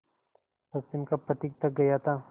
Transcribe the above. पश्चिम का पथिक थक गया था